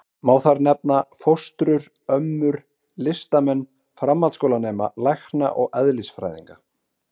Má þar nefna: fóstrur, ömmur, listamenn, framhaldsskólanema, lækna og eðlisfræðinga.